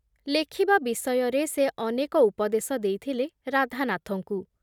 ଲେଖିବା ବିଷୟରେ ସେ ଅନେକ ଉପଦେଶ ଦେଇଥିଲେ ରାଧାନାଥଙ୍କୁ ।